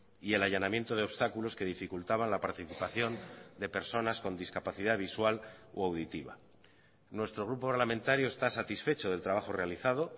y el allanamiento de obstáculos que dificultaban la participación de personas con discapacidad visual o auditiva nuestro grupo parlamentario está satisfecho del trabajo realizado